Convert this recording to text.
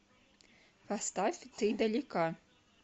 поставь ты далека